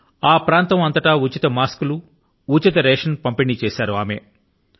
ఆ ప్రాంతం అంతటా మాస్కుల ను రేశన్ ను ఉచితం గా పంపిణీ చేశారు ఆవిడ